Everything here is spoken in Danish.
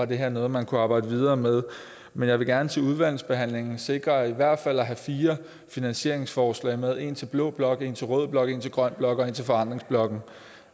det her er noget man kunne arbejde videre med men jeg vil gerne til udvalgsbehandlingen sikre at i hvert fald fire finansieringsforslag med et til blå blok et til rød blok et til grøn blok og et til forandringsblokken